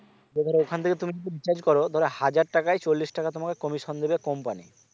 যদি ধরো ওখান থেকে তুমি যদি recharge কর ধরো হাজার টাকায় চল্লিশ টাকা তোমাকে commission দেবে company